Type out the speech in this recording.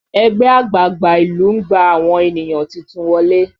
Ẹgbẹ́ àgbààgbà ìlú ń gba àwọn ènìyàn titun wọlé